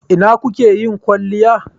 Ina kuke yin kwalliyai?